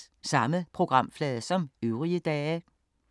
Samme programflade som øvrige dage